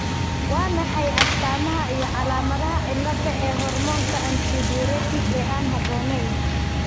Waa maxay astamaha iyo calaamadaha cilada ee hormoonka antidiuretic ee aan habboonayn?